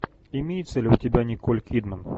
имеется ли у тебя николь кидман